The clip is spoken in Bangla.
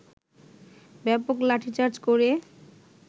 ব্যাপক লাঠিচার্জ করে